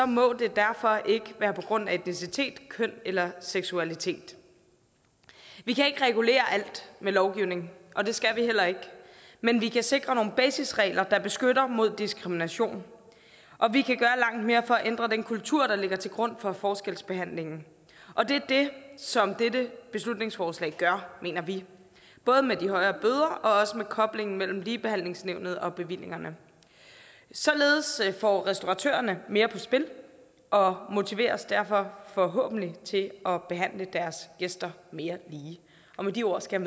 må det derfor ikke være på grund af identitet køn eller seksualitet vi kan ikke regulere alting med lovgivning og det skal vi heller ikke men vi kan sikre nogle basisregler der beskytter mod diskrimination og vi kan gøre langt mere for at ændre den kultur der ligger til grund for forskelsbehandlingen og det er det som dette beslutningsforslag gør mener vi både med de højere bøder og også med koblingen mellem ligebehandlingsnævnet og bevillingerne således får restauratørerne mere på spil og motiveres derfor forhåbentlig til at behandle deres gæster mere lige og med de ord skal